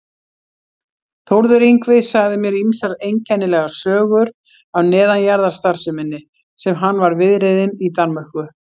Þórður Yngvi sagði mér ýmsar einkennilegar sögur af neðanjarðarstarfseminni sem hann var viðriðinn í Danmörku.